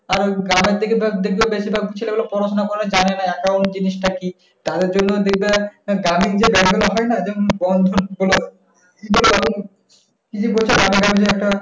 কার garments থেকে ধর দেখবে বেশিভাগ ছেলেগুল পড়াশুনা করা জানে না। account জিনিশটা কি? তাদের জন্য দেখবেন গ্রামের যে bank গুলো হয়না? যেমন বন্ধন বল কি জে বলছো গ্রামে-গঞ্জে একটা,